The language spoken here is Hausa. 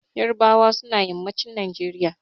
Ƴarbawa suna yammacin Najeriya.